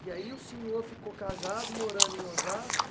E aí o senhor ficou casado, morando em Osasco.